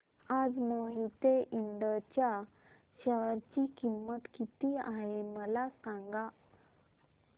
आज मोहिते इंड च्या शेअर ची किंमत किती आहे मला सांगा